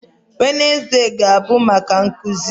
Wednezde ga-abụ maka nkụzi